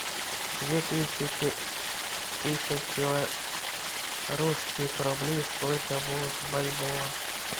две тысячи тысяч белорусских рублей сколько будет в бальбоа